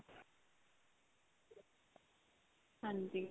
ਹਾਂਜੀ.